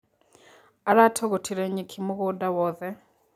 Aratũgũtire nyeki mũgũda wothe.